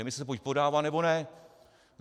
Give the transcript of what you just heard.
Demise se buď podává, nebo ne.